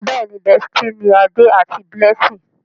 Béèni bestie ní Ade àti Blessing.